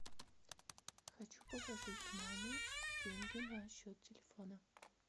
хочу положить маме деньги на счет телефона